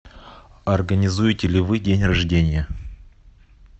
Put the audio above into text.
организуете ли вы день рождения